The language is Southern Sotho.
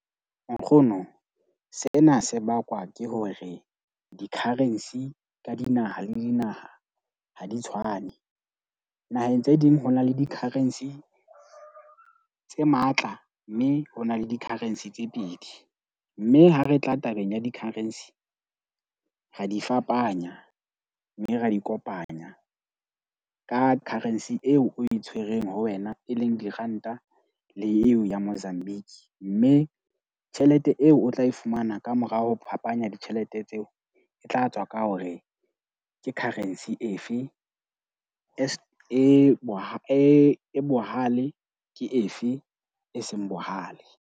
Nkgono, sena se bakwa ke hore di-currency ka dinaha le dinaha ha di tshwane. Naheng tse ding ho na le di-currency tse matla, mme ho na le di-currency tse pedi. Mme ha re tla tabeng ya di-currency ra di fapanya. Mme ra di kopanya ka currency eo o e tshwereng ho wena, e leng diranta le eo ya Mozambique. Mme tjhelete eo o tla e fumana kamorao ho phapanya ditjhelete tseo e tla tswa ka hore ke currency efe as e e bohale ke efe e seng bohale.